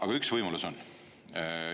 Aga üks võimalus on.